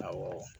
Awɔ